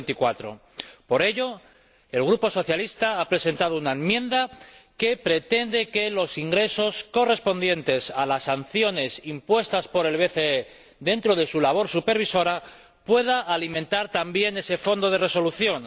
2024. Por ello, el Grupo socialista ha presentado una enmienda que pretende que los ingresos correspondientes a las sanciones impuestas por el BCE dentro de su labor supervisora puedan alimentar también ese fondo de resolución.